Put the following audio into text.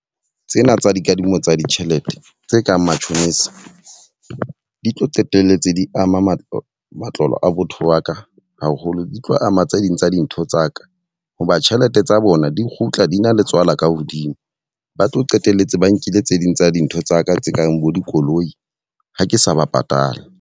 Tsena tsa dikadimo tsa ditjhelete tse kang matjhonisa, di tlo qetelletse di ama matlo matlole a botho waka haholo. Di tlo ama tse ding tsa dintho ntho tsaka ho ba tjhelete tsa bona di kgutla di na le tswala ka hodimo. Ba tlo qetelletse ba nkile tse ding tsa dintho tsaka tse kang bo dikoloi ha ke sa ba patale.